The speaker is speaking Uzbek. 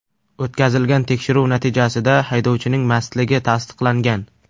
O‘tkazilgan tekshiruv natijasida haydovchining mastligi tasdiqlangan.